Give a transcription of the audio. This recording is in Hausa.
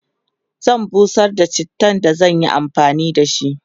zan busar da chittan da zan Yi amfani da shi